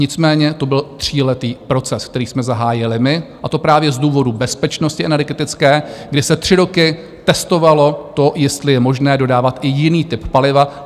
Nicméně to byl tříletý proces, který jsme zahájili my, a to právě z důvodu bezpečnosti energetické, kdy se tři roky testovalo to, jestli je možné dodávat i jiný typ paliva.